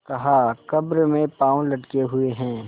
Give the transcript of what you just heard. कहाकब्र में पाँव लटके हुए हैं